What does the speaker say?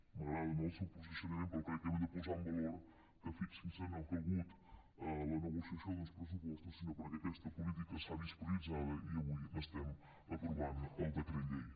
m’agrada no el seu posicionament però crec que hem de posar en valor que fixin se no ha calgut la negociació d’uns pressupostos perquè aquesta política s’ha vist prioritzada i avui n’estem aprovant el decret llei